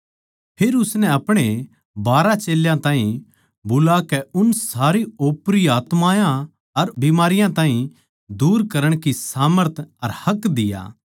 फेर उसनै अपणे बारहां चेल्यां ताहीं बुलाकै उननै सारी ओपरी आत्मायाँ अर बिमारियाँ ताहीं दूर करण की सामर्थ अर हक दिया